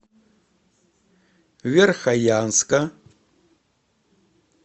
верхоянска